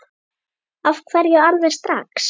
Af hverju alveg strax?